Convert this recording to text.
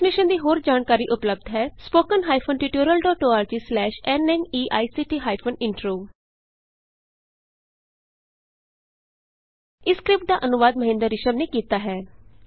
ਇਸ ਮਿਸ਼ਨ ਦੀ ਹੋਰ ਜਾਣਕਾਰੀ ਉਪਲੱਭਦ ਹੈ spoken hyphen tutorial dot org slash N M I E C T hyphen intro ਇਸ ਸਕਰਿਪਟ ਦਾ ਅਨੁਵਾਦ ਮਹਿੰਦਰ ਰਿਸ਼ਮ ਨੇ ਕੀਤਾ ਹੈ